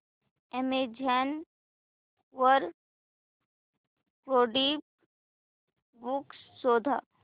Amazon वर coding books शोधा